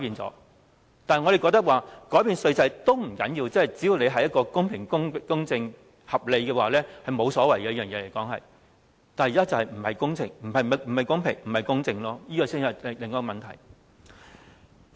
我們認為，即使改變稅制也不要緊，只要是公平、公正和合理，這是沒有所謂的，但問題是現在並不公平、公正，這才是另一問題。